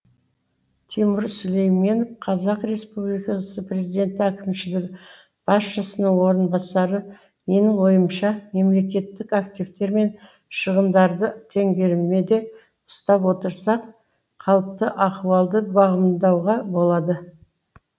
тимур сүлейменов қазақ республикасы президенті әкімшілік басшысының орынбасары менің ойымша мемлекеттік активтер мен шығындарды теңгеріме де ұстап отырсақ қалыпты ахуалды бағамдауға болады